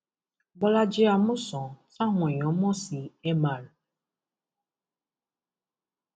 bọlájì amusan táwọn èèyàn mọ sí mr